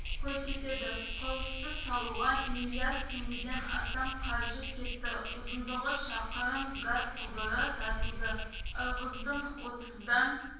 көрсетеді құрылысты салуға миллиард теңгеден астам қаржы кетті ұзындығы шақырым газ құбыры тартылды ырғыздың отыздан